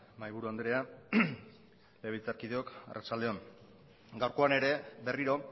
mahaiburu andrea legebiltzarkideok arratsalde on gaurkoan ere berriro